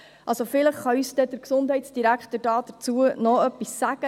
Vielleicht kann uns der Gesundheitsdirektor noch etwas dazu sagen.